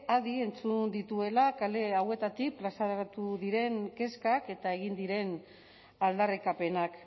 adi entzun dituela kale hauetatik plazaratu diren kezkak eta egin diren aldarrikapenak